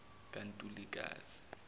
kantulikazi